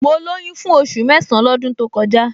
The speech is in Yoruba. Mo lóyún fún oṣù mẹ́san-án lọ́dún to kọjá